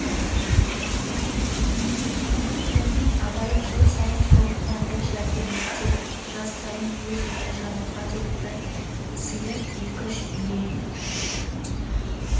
сонымен абай жыл сайын соғымына бір жәрдем етсе жаз сайын өз үйі жаңылға деп бір сиыр екі-үш бие